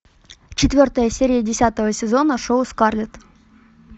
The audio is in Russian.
четвертая серия десятого сезона шоу скарлетт